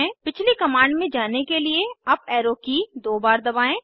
पिछली कमांड में जाने के लिए अप एरो की दो बार दबाएं